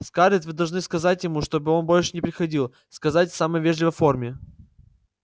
скарлетт вы должны сказать ему чтобы он больше не приходил сказать в самой вежливой форме